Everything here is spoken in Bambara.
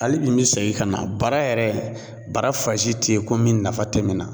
Hali bi me segin ka na, bara yɛrɛ , bara fansi tɛ yen ko min nafa tɛ min na